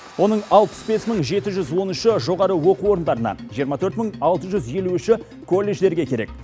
оның алпыс бес мың жеті жүз он үші жоғары оқу орындарына жиырма төрт мың алты жүз елу үші колледждерге керек